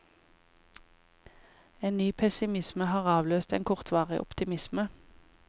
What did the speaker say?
En ny pessimisme har avløst en kortvarig optimisme.